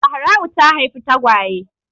Zahra'u ta haifi tagwaye.